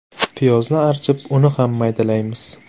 Piyozni archib, uni ham maydalaymiz.